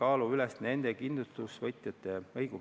2019. aasta lõpu seisuga on sõlmitud kokku ligi 8000 pensionilepingut.